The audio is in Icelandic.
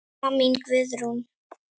Amma mín Guðrún.